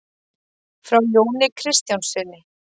Frá Jóni kristjánssyni.